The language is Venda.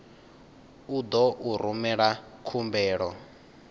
u ḓo u rumela khumbelo